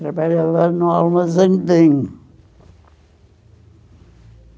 Trabalhava no armazém